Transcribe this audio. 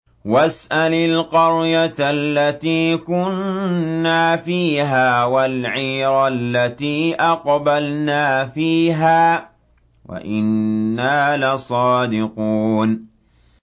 وَاسْأَلِ الْقَرْيَةَ الَّتِي كُنَّا فِيهَا وَالْعِيرَ الَّتِي أَقْبَلْنَا فِيهَا ۖ وَإِنَّا لَصَادِقُونَ